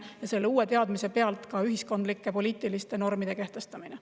Ja selle uue teadmise pealt kehtestatakse ühiskondlikke poliitilisi norme.